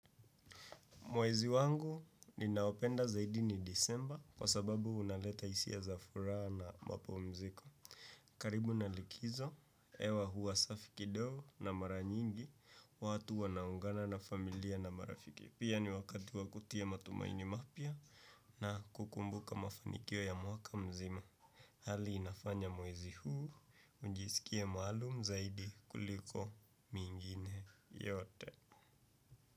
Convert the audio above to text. Mwezi wangu ninaopenda zaidi ni disemba kwa sababu unaleta hisia za furaha na mapumziko. Karibu na likizo, hewa huwa safi kidogo na mara nyingi, watu wanaungana na familia na marafiki. Pia ni wakati wa kutia matumaini mapya na kukumbuka mafanikio ya mwaka mzima. Hali inafanya mwezi huu, ujisikie maalum zaidi kuliko mingine yote.